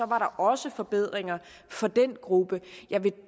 var der også forbedringer for den gruppe jeg vil